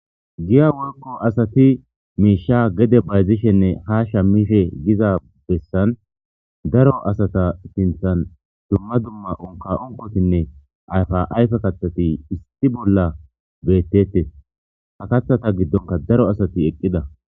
Giya giddoni asati mishsha gede bazishenne shamidhshe Giza besani daro asata sinthani dumma dumma unikka unikkotinne ayifa ayifeta issi bola betetees ha kaththata giddonikka daarot asati eqida